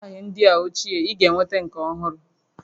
Taya ndị a ochie, ị ga-enweta nke ọhụrụ